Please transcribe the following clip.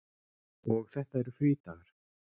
Og þetta eru frídagar.